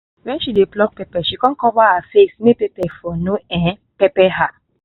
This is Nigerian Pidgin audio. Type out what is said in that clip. when she dey pluck pepper she con cover her face make pepper for no um pepper her